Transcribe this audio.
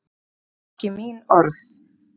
Það voru ekki mín orð